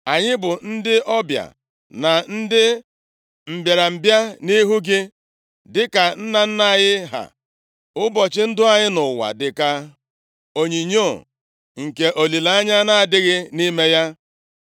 Anyị bụ ndị ọbịa na ndị mbịarambịa nʼihu gị, dịka nna nna anyị ha. Ụbọchị ndụ anyị nʼụwa dị ka onyinyo, nke olileanya na-adịghị nʼime ya.